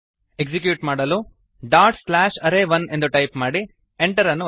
execute ಮಾಡಲು array1ಡಾಟ್ slash array one ಎಂದು ಟೈಪ್ ಮಾಡಿ Enter ಅನ್ನು ಒತ್ತಿ